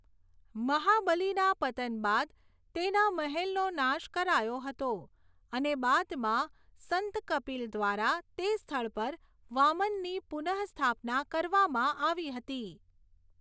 મહાબલિના પતન બાદ તેના મહેલનો નાશ કરાયો હતો અને બાદમાં સંત કપિલ દ્વારા તે સ્થળ પર વામનની પુનસ્થાપના કરવામાં આવી હતી.